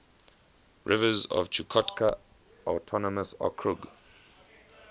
rivers of chukotka autonomous okrug